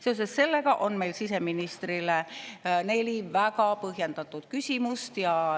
Seoses sellega on meil siseministrile neli väga põhjendatud küsimust.